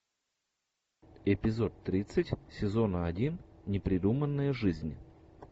эпизод тридцать сезона один непридуманная жизнь